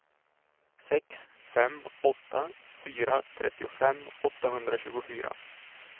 sex fem åtta fyra trettiofem åttahundratjugofyra